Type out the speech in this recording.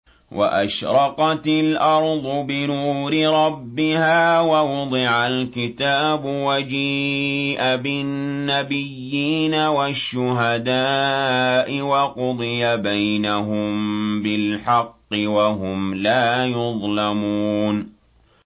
وَأَشْرَقَتِ الْأَرْضُ بِنُورِ رَبِّهَا وَوُضِعَ الْكِتَابُ وَجِيءَ بِالنَّبِيِّينَ وَالشُّهَدَاءِ وَقُضِيَ بَيْنَهُم بِالْحَقِّ وَهُمْ لَا يُظْلَمُونَ